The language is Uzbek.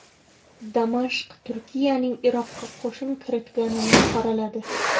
Damashq Turkiyaning Iroqqa qo‘shin kiritganini qoraladi.